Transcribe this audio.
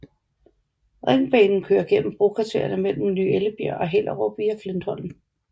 Ringbanen kører gennem brokvartererne mellem Ny Ellebjerg og Hellerup via Flintholm